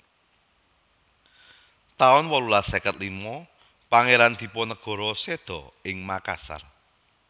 taun wolulas seket lima Pangéran Dipanegara séda ing Makassar